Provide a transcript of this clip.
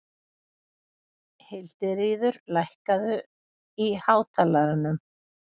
Hildiríður, lækkaðu í hátalaranum.